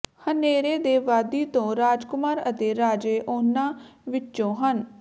ਹਨੇਰੇ ਦੇ ਵਾਦੀ ਤੋਂ ਰਾਜਕੁਮਾਰ ਅਤੇ ਰਾਜੇ ਉਨ੍ਹਾਂ ਵਿੱਚੋਂ ਹਨ